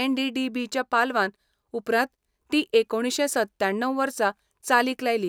NDDB. च्या पालवान उपरांत ती एकुणशें सत्त्याण्णव वर्सा चालीक लायली.